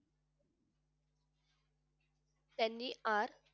त्यांनी अर